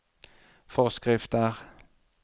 forskrifter